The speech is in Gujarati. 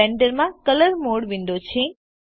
આ બ્લેન્ડર માં કલર મોડ વિન્ડો છે